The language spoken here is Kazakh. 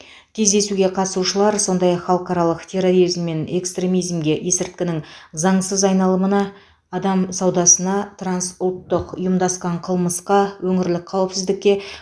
кездесуге қатысушылар сондай ақ халықаралық терроризм мен экстремизмге есірткінің заңсыз айналымына адам саудасына трансұлттық ұйымдасқан қылмысқа өңірлік қауіпсіздікке